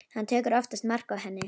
Hann tekur oftast mark á henni.